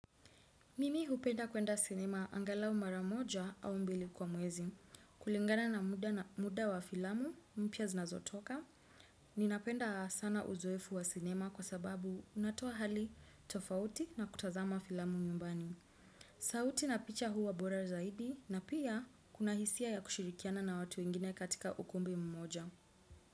Mimi hupenda kwenda cinema angalau maramoja au mbili kwa mwezi, kulingana na muda wa filamu mpya zinazotoka. Ninapenda sana uzoefu wa cinema kwa sababu unatoa hali tofauti na kutazama filamu nyumbani. Sauti na picha huwa bora zaidi na pia kuna hisia ya kushirikiana na watu wengine katika ukumbi mmoja.